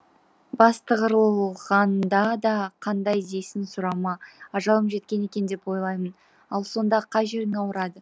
бастығырылғанда да қандай дейсің сұрама ажалым жеткен екен деп ойлаймын ал сонда қай жерің ауырады